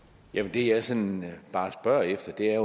det jeg sådan bare spørger efter er